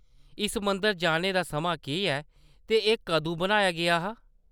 इस मंदर जाने दा समां केह्‌‌ ऐ ते एह् कदूं बनाया गेआ हा ?